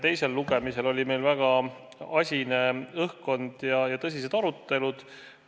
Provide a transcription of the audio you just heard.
Teisel lugemisel oli meil samuti väga asine õhkkond ja tõsised arutelud.